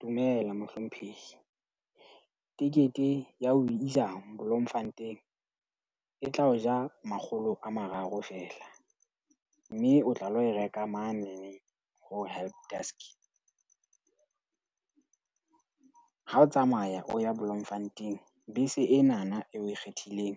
Dumela mohlomphehi. Tekete ya ho o isa Bloemfontein e tla o ja makgolo a mararo feela. Mme o tla lo reka manene ho helpdesk. Ha o tsamaya o ya Bloemfontein, bese enana eo o e kgethileng